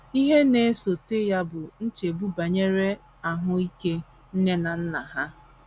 Ihe na - esote ya bụ nchegbu banyere ahụ ike nne na nna ha.